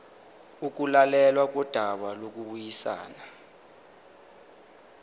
ukulalelwa kodaba lokubuyisana